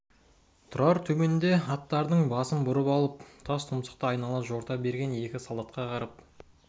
тұрар төменде аттарының басын бұрып алып тас тұмсықты айнала жорта берген екі солдатқа қарап